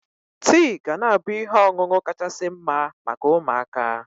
Tii ga na-abụ ihe ọṅụṅụ kachasị mma maka ụmụaka.